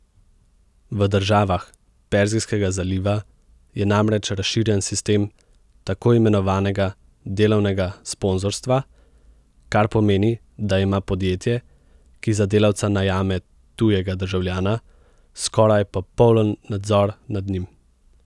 V državah Perzijskega zaliva je namreč razširjen sistem takoimenovanega delovnega sponzorstva, kar pomeni, da ima podjetje, ki za delavca najame tujega državljana, skoraj popoln nadzor nad njim.